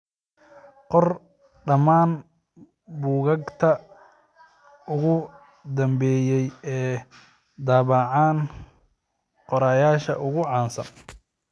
qor dhammaan buugaagta ugu dambeeyay ee ay daabacaan qorayaasha ugu caansan